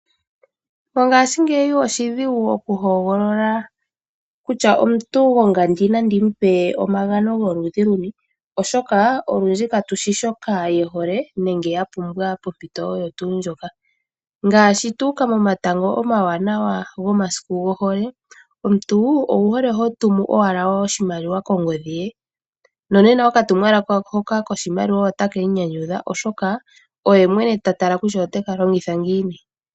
Mongashingeyi oshidhigu okuhogolola kutya omuntu gwongandi nandi mu pe omagano goludhi luni oshoka olundji katushi shoka ye hole nenge ya pumbwa pompito oyo tuu ndjoka, ngaashi tu uka momatango omawanawa gomasiku gohole omuntu owuhole ho tumu owala oshimaliwa kongodhi ye nonena okatumwalaka hono koshimaliwa otake mu nyanyudha oshoka oye mwene ta tala kutya ote ka longitha ngiini.